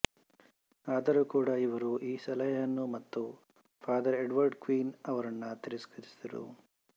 ಆದರೂ ಕೂಡ ಇವರು ಈ ಸಲಹೆಯನ್ನು ಮತ್ತು ಫಾದರ್ ಎಡ್ವರ್ಡ್ ಕ್ವಿನ್ ಅವರನ್ನು ತಿರಸ್ಕರಿಸಿದರು